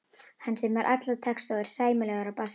Hann semur alla texta og er sæmilegur á bassa.